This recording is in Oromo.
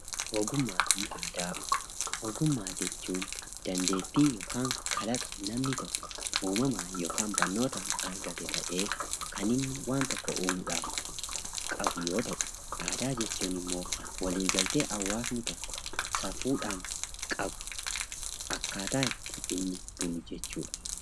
Ogummaa fi Aadaa Ogummaa jechuun dandeettii yookaan kalaqa namni tokko uumamaan yookaan barnootaan argate ta'ee kan inni waan tokko uumuudhaaf qabu yoo ta'u, aadaa jechuun immoo waliigaltee hawaasni tokko safuudhaan qabu; akkaataa itti inni bulu jechuu dha.